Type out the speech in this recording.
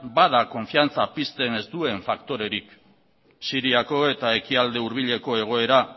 bada konfiantza pizten ez duen faktorerik siriako eta ekialde hurbileko egoera